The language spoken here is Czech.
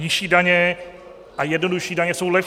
Nižší daně a jednodušší daně jsou lepší.